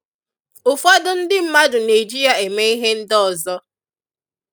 ụfọdụ ndị mmadụ na-eji ya eme ihe ndị ọzọ